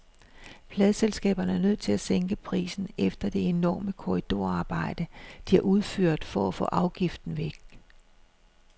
Pladeselskaberne er nødt til at sænke prisen efter det enorme korridorarbejde, de har udført for at få afgiften væk.